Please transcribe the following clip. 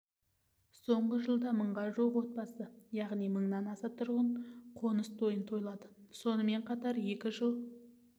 соңғы жылда мыңға жуық отбасы яғни мыңнан аса тұрғын қоныс тойын тойлады сонымен қатар екі жыл